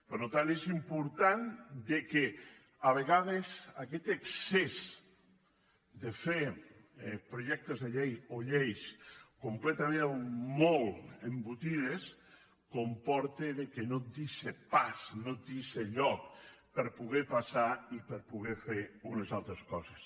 per tant és important que a vegades aquest excés de fer projectes de llei o lleis completament molt embotides comporta que no et deixa pas no et deixa lloc per poder passar i per poder fer unes altres coses